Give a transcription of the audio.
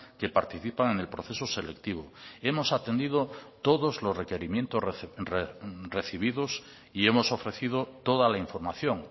que participan en el proceso selectivo hemos atendido todos los requerimientos recibidos y hemos ofrecido toda la información